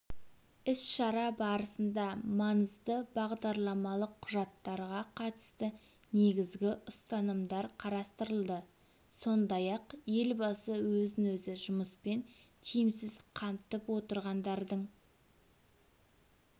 іс-шара барысында маңызды бағдарламалық құжаттарға қатысты негізгі ұстанымдар қарастырылды сондай-ақ елбасы өзін-өзі жұмыспен тиімсіз қамтып отырғандардың